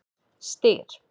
Styr